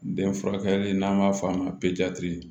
Den furakɛ n'an b'a f'a ma